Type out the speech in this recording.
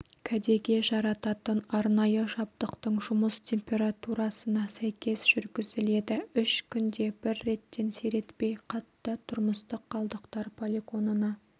кәдеге жарататын арнайы жабдықтың жұмыс температурасына сәйкес жүргізіледі үш күнде бір реттен сиретпей қатты тұрмыстық қалдықтар полигонына